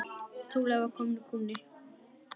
Trúlega var kominn kúnni.